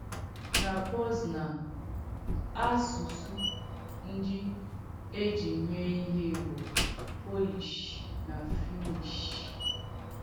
Na Poznan, àsùsù ndí e jì mee ìhé bụ̀ Pòlìsh nà Fìnnìsh.